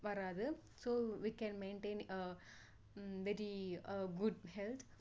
வராது so we can maintain very good health